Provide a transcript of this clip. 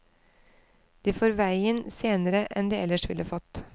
De får veien senere enn de ellers ville fått.